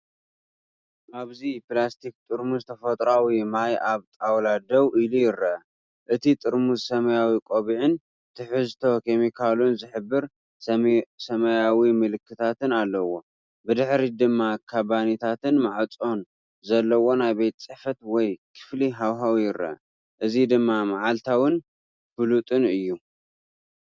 ኣብዚ ፕላስቲክ ጥርሙዝ ተፈጥሮኣዊ ማይ ኣብ ጣውላ ደው ኢሉ ይርአ። እቲ ጥርሙዝ ሰማያዊ ቆቢዕን ትሕዝቶ ኬሚካላቱ ዝሕብር ሰማያዊ ምልክትን ኣለዎ። ብድሕሪት ድማ ካቢነታትን ማዕጾን ዘለዎ ናይ ቤት ጽሕፈት ወይ ክፍሊ ሃዋህው ይርአ። እዚ ድማ መዓልታዊን ፍሉጥን እዩ።